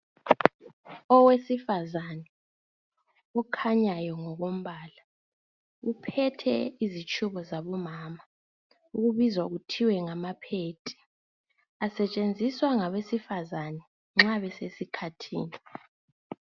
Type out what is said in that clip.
Owesifazana okhanyayo ngokombala uphethe izitshubo zabo mama okubizwa kuthiwe ngama phedi asetshenziswa ngabe sifazana nxa besesikhathini.